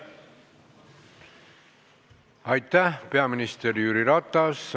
Aitäh, peaminister Jüri Ratas!